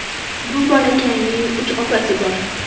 Bu bolakayning uch opasi bor.